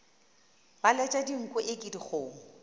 ba letša dinko eke dikgomo